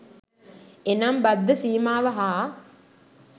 එනම් බද්ධ සීමාව හා